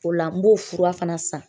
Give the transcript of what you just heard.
O la n b'o fura fana san .